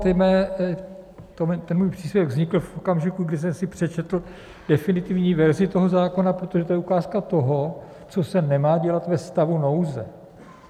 Ten můj příspěvek vznikl v okamžiku, kdy jsem si přečetl definitivní verzi toho zákona, protože to je ukázka toho, co se nemá dělat ve stavu nouze.